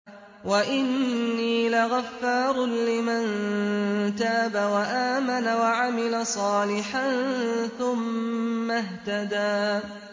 وَإِنِّي لَغَفَّارٌ لِّمَن تَابَ وَآمَنَ وَعَمِلَ صَالِحًا ثُمَّ اهْتَدَىٰ